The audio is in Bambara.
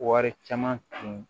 Wari caman tun